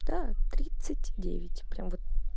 да тридцать девять прям вот